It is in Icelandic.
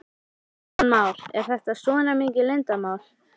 Kristján Már: Er þetta svona mikið leyndarmál?